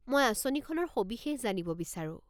মই আঁচনিখনৰ সবিশেষ জানিব বিচাৰো।